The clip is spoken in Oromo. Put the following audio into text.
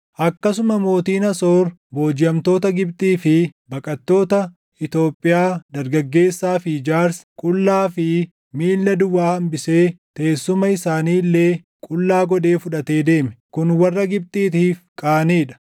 akkasuma mootiin Asoor boojiʼamtoota Gibxii fi baqattoota Itoophiyaa dargaggeessaa fi jaarsa, qullaa fi miilla duwwaa hambisee teessuma isaanii illee qullaa godhee fudhatee deeme; kun warra Gibxiitiif qaanii dha.